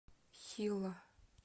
хилла